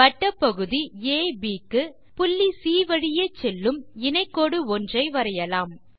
வட்டப்பகுதி அப் க்கு புள்ளி சி வழி செல்லும் இணை கோடு ஒன்றை வரையலாம்